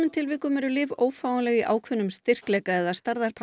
tilvikum eru lyf ófáanleg í ákveðnum styrkleika eða